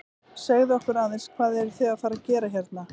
Segðu okkur aðeins, hvað eruð þið að fara að gera hérna?